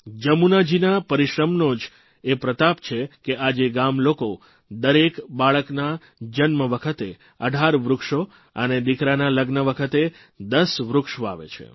જમુનાજીના પરિશ્રમનો જ એ પ્રતાપ છે કે આજે ગામલોકો દરેક બાળકના જન્મ વખતે 18 વૃક્ષો અને દીકરાના લગ્ન વખતે 10 વૃક્ષ વાવે છે